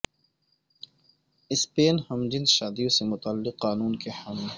سپین ہم جنس شادیوں سے متعلق قانون کے حامی